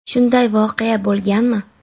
Shunday voqea bo‘lganmi?